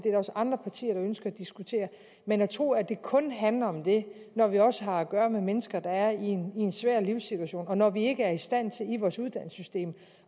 andre partier der ønsker at diskutere men at tro at det kun handler om det når vi også har at gøre med mennesker der er i en svær livssituation og når vi ikke er i stand til i vores uddannelsessystem